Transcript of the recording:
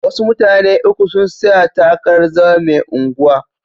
Wasu mutane uku sun tsaya takarar zama mai unguwa.